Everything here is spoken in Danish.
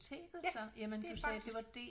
Ja det er faktisk